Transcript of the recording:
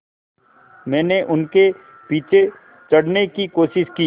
मैंने उनके पीछे चढ़ने की कोशिश की